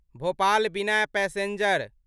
भोपाल बिना पैसेंजर